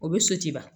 O bɛ so ci ban